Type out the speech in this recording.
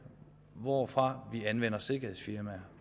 hvorfra vi anvender sikkerhedsfirmaer